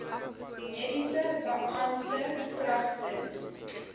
mediese beampte kragtens